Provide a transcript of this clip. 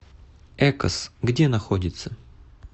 экос где находится